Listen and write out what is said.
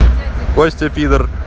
костя пидор